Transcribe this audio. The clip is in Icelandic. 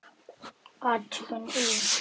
Athugun í